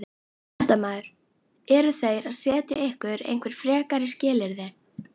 Fréttamaður: Eru þeir að setja ykkur einhver frekari skilyrði?